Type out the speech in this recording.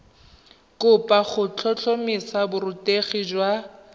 kopo go tlhotlhomisa borutegi jwa